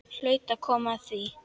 Hlaut að koma að því.